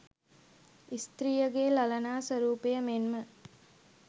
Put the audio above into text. ස්ත්‍රියගේ ළලනා ස්වරූපය මෙන්ම